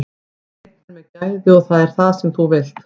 Við náðum í leikmenn með gæði og það er það sem þú vilt.